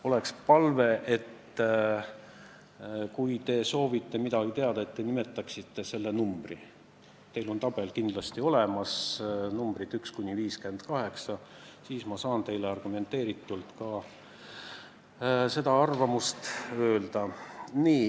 On palve, et kui te soovite midagi teada, siis palun nimetage ettepaneku number – teil on tabel kindlasti olemas, numbrid 1–58 –, siis ma saan teile argumenteeritult valitsuse arvamuse öelda.